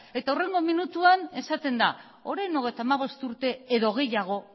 eta hurrengo minutuan esaten da orain hogeita hamabost urte edo gehiago